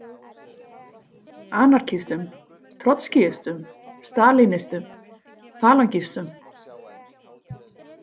Anarkistum, trotskíistum, stalínistum, falangistum?